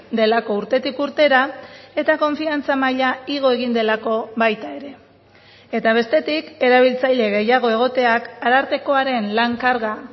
delako urtetik urtera eta konfiantza maila igo egin delako baita ere eta bestetik erabiltzaile gehiago egoteak arartekoaren lan karga